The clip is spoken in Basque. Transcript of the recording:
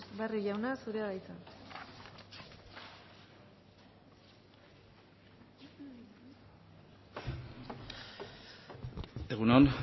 barrio jauna zurea da hitza egun on